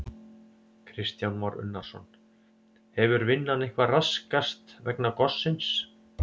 Kristján Már Unnarsson: Hefur vinnan eitthvað raskast vegna gossins?